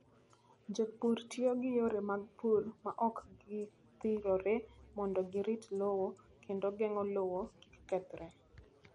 Jopur tiyo gi yore mag pur ma ok gidhirore mondo girit lowo kendo geng'o lowo kik kethre.